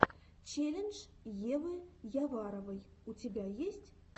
челлендж евы яваровой у тебя есть